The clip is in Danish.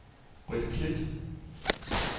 Brit Klit